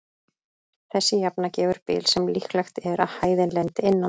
Þessi jafna gefur bil sem líklegt er að hæðin lendi innan.